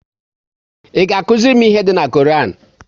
Ị ga akụziri m ihe dị na Koran?